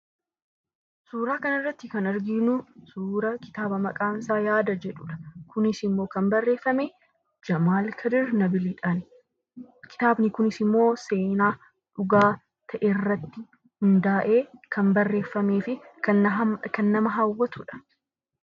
Suuraa kanarratti kan arginuu suura kitaaba maqaan isaa "yaada" jedhudha. Kunisimmoo kan barreefame Jamaal Kadir Nabiidhaan. Kitaabni kunisimmoo seenaa dhugaa ta'erratti hundaa'ee kan barreefameefi kan nama hawaatudha.